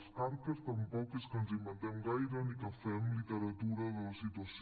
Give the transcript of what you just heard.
els carques tampoc és que ens inventem gaire ni que fem literatura de la situació